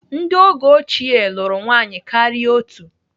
Ndị oge ochie lụrụ nwaanyị karịa otú.